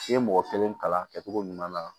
I ye mɔgɔ kelen kalan a kɛcogo ɲuman na